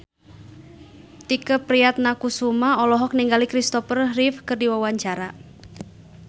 Tike Priatnakusuma olohok ningali Kristopher Reeve keur diwawancara